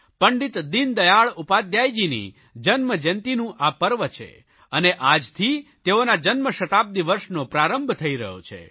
પંડિત દીનદયાળ ઉપાધ્યાયજીની જન્મજયંતીનું આ પર્વ છે અને આજથી તેઓના જન્મશતાબ્દિ વર્ષનો પ્રારંભ થઇ રહ્યો છે